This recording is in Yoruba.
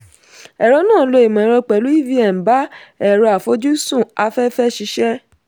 ẹ̀rọ náà lo ìmọ̀ ẹ̀rọ pẹ̀lú evm bá ẹ̀rọ àfojúsùn afẹ́fẹ́ ṣiṣẹ́.